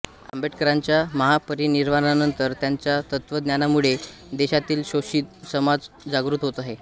आंबेडकरांच्या महापरिनिर्वाणानंतर त्यांच्या तत्त्वज्ञानामुळे देशातील शोषित समाज जागृत होत आहे